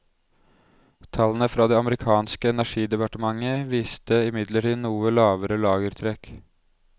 Tallene fra det amerikanske energidepartementet viste imidlertid noe lavere lagertrekk.